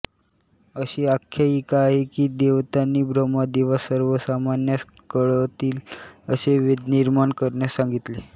अशी आख्यायिका आहे की देवतांनी ब्रम्हदेवास सर्वसामान्यांस कळतील असे वेद निर्माण करण्यास सांगितले